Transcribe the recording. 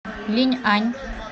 линьань